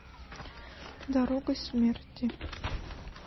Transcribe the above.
дорогой смерти